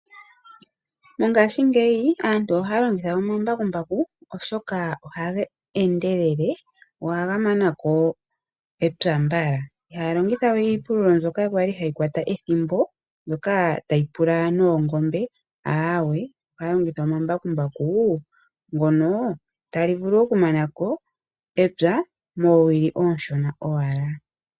Mongaashingeyi aantu ohaya longitha omambakumbaku oshoka ohaga endelele go ohaga manako epya mbala ihaya longitha we iipululo mbyoka kwali hayi kwata ethimbo mbyoka tayi pula noongombe aawe ohaya longitha omambakumbaku ngono talivulu oku manako epya moowili oonshona owala.